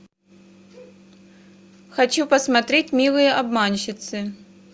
хочу посмотреть милые обманщицы